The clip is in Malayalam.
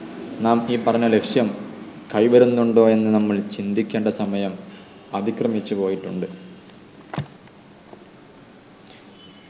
നാം ഈ പറഞ്ഞ ലക്ഷ്യം കൈവരുന്നുണ്ടോ എന്ന് നമ്മൾ ചിന്തിക്കേണ്ട സമയം അതിക്രമിച്ചു പോയിട്ടുണ്ട്